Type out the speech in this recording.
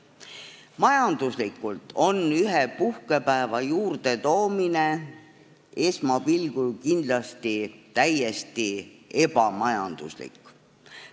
Esmapilgul on ühe puhkepäeva juurdetoomine kindlasti täiesti ebamajanduslik.